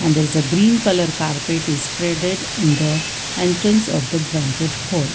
and there is a green colour carpet is spreaded in the entrance of the banquet hall.